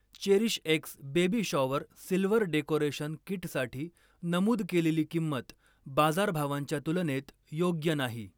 चेरीशएक्स baby shower silver decoration किटसाठी नमूद केलेली किंमत बाजारभावांच्या तुलनेत योग्य नाही.